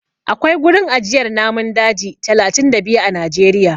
Akwai gurin ajiyar namun daji talatin da biyu a Najeriya.